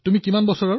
আপোনাৰ বয়স কিমান